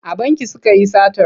A banki suka yi satar.